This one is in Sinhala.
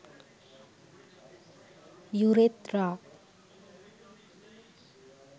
urethra